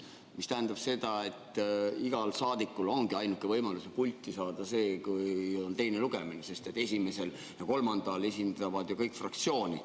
See tähendab seda, et igal saadikul ongi ainuke võimalus pulti saada siis, kui on teine lugemine, sest esimesel ja kolmandal esindavad ju kõik fraktsiooni.